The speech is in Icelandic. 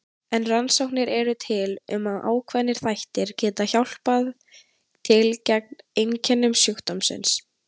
En rannsóknir eru til um að ákveðnir þættir geti hjálpað til gegn einkennum sjúkdómsins.